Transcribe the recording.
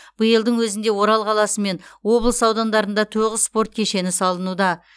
биылдың өзінде орал қаласы мен облыс аудандарында тоғыз спорт кешені салынуда